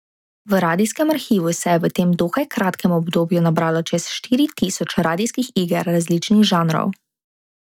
V radijskem arhivu se je v tem dokaj kratkem obdobju nabralo čez štiri tisoč radijskih iger različnih žanrov.